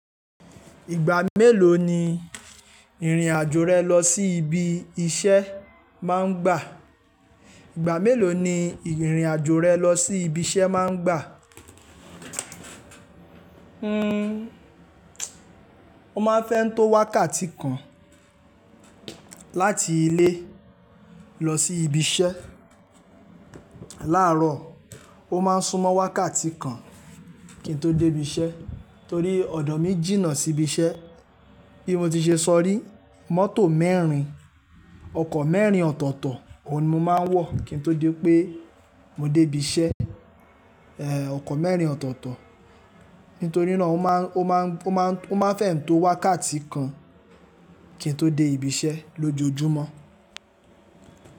Ìgbà mélòó ni ìrìn àjò rẹ lọ sí ibi iṣẹ́ máa ń gbà? Ìgbà mélòó ni ìrìn àjò rẹ lọ sí ibi iṣẹ́ máa ń gbà? Fẹ́ ń tó wákàtí kan láti ilé lọ sí ibi iṣẹ́. Láàárọ̀, ó máa ń súnmọ́ wákàtí kan kí n tó dé ibi iṣẹ́ torí ọ̀dọ̀ mi jìnnà sí ibi iṣẹ́. Bí mo ti ṣe sọ rí mọ́tò mẹ́rin, ọkọ̀ mẹ́rin ọ̀tọ̀ọ̀tọ̀, òun ni mo máa ń wọ̀ kí n tó dé pé mo dé ibi iṣẹ́, ẹ, ọkọ̀ mẹ́rin ọ̀tọ̀ọ̀tọ̀. Nítorí náà ó máa, ó máa, ó máa, ó máa fẹ́ ń tó wákàtí kan kí n tó dé ibi iṣẹ́ lójoojúmọ́.